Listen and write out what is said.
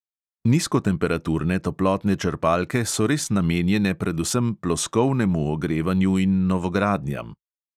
Nizkotemperaturne toplotne črpalke so res namenjene predvsem ploskovnemu ogrevanju in novogradnjam.